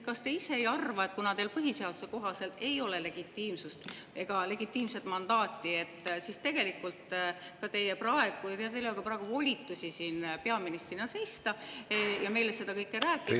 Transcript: Kas te ise ei arva, et kuna teil põhiseaduse kohaselt ei ole legitiimsust ega legitiimset mandaati, siis teil ei ole praegu ka volitusi siin peaministrina seista ja meile seda kõike rääkida?